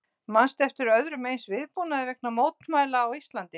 Manstu eftir öðrum eins viðbúnaði vegna mótmæla á Íslandi?